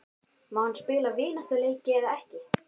Má hann spila vináttuleiki eða ekki?